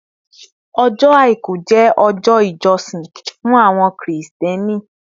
Ọjọ́ Àìkú jẹ́ ọjọ́ ìjọsìn fún àwọn Kírísítẹ́nì